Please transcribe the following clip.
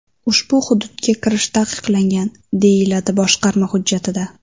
Ushbu hududga kirish taqiqlangan”, deyiladi boshqarma hujjatida.